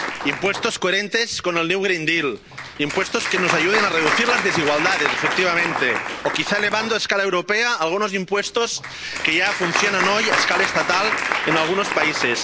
IVA impuestos coherentes con el nuevo Pacto Verde Europeo, impuestos que nos ayuden a reducir las desigualdades, efectivamente, o quizá elevando a escala europea algunos impuestos que ya funcionan hoy a escala estatal en algunos países.